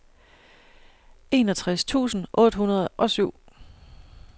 enogtres tusind otte hundrede og syv